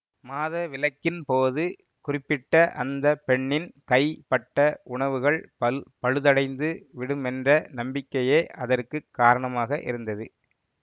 மாதவிலக்கின் போது குறிப்பிட்ட அந்த பெண்ணின் கை பட்ட உணவுகள் பல் பழுதடைந்து விடுமென்ற நம்பிக்கையே அதற்கு காரணமாக இருந்தது